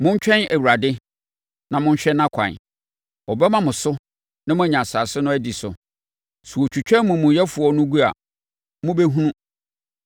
Montwɛn Awurade na monhwɛ nʼakwan. Ɔbɛma mo so na moanya asase no adi so; sɛ wɔtwitwa amumuyɛfoɔ no gu a, mobɛhunu.